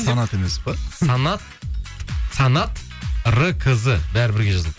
фанат емес пе санат р кызы бәрі бірге жазылады